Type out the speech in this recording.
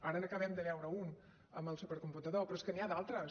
ara n’acabem de veure un amb el supercomputador però és que n’hi ha d’altres